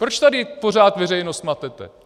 Proč tady pořád veřejnost matete?